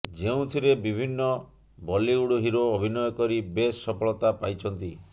ଯେଉଁଥିରେ ବିଭିନ୍ନ Bollywood hero ଅଭିନୟ କରି ବେଶ୍ ସଫଳତା ପାଇଛନ୍ତି